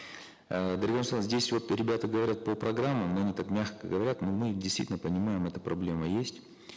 э дарига нурсултановна здесь вот ребята говорят по программам но они так мягко говорят мы действительно понимаем эта проблема есть